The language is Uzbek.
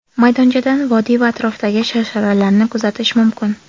Maydonchadan vodiy va atrofdagi sharsharalarni kuzatish mumkin.